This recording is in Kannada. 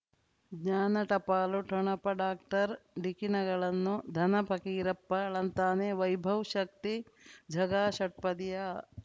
ಜ್ಞಾನ ಟಪಾಲು ಠೊಣಪ ಡಾಕ್ಟರ್ ಢಿಕ್ಕಿ ಣಗಳನು ಧನ ಫಕೀರಪ್ಪ ಳಂತಾನೆ ವೈಭವ್ ಶಕ್ತಿ ಝಗಾ ಷಟ್ಪದಿಯ